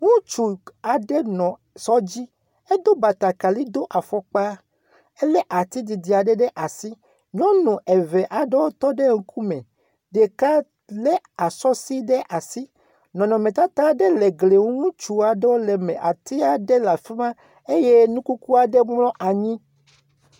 Ŋutsu aɖe nɔ sɔ dzi. Edo batakali, do efɔkpa hele ati didia aɖe le asi. Nyɔnu eve aɖewo tɔ ɖe ŋkume. Ɖeka le asɔsi ɖe asi. Nɔnɔmetata aɖe le egli ŋu. ŋutsua aɖewo le eme. Atia ɖe le afima eye nukukua ɖe mlɔ anyi.